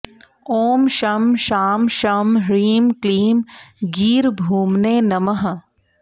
ॐ शं शां षं ह्रीं क्लीं गीर्भूम्ने नमः